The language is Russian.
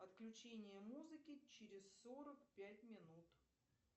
отключение музыки через сорок пять минут